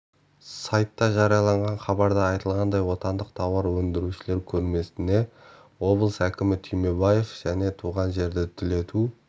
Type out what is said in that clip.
сайтта жарияланған хабарда айтылғандай отандық тауар өндірушілер көрмесіне облыс әкімі түймебаев және туған жерді түлету